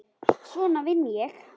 Svona vinn ég.